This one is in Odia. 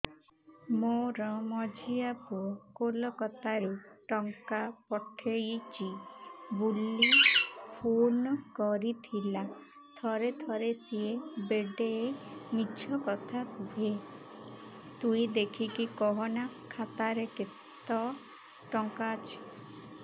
ମୋର ମଝିଆ ପୁଅ କୋଲକତା ରୁ ଟଙ୍କା ପଠେଇଚି ବୁଲି ଫୁନ କରିଥିଲା ଥରେ ଥରେ ସିଏ ବେଡେ ମିଛ କଥା କୁହେ ତୁଇ ଦେଖିକି କହନା ଖାତାରେ କେତ ଟଙ୍କା ଅଛି